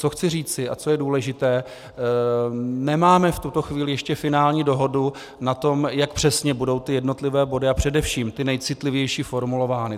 Co chci říci a co je důležité, nemáme v tuto chvíli ještě finální dohodu na tom, jak přesně budou ty jednotlivé body a především ty nejcitlivější formulovány.